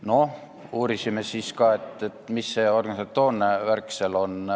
No uurisime siis ka, mis see organisatoorne värk seal on.